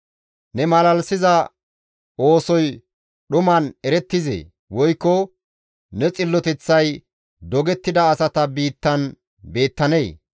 Ne malalisiza oosoy dhuman erettizee? Woykko ne xilloteththay dogettida asata biittan beettanee?